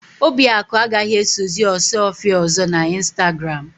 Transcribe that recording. Obiakụ agaghì esozi Ọsụọfịa ọ̀zọ́ n'Ịnstagram.